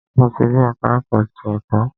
Mo ti dé ẹka ẹ̀kọ́ ti ẹ̀kọ́.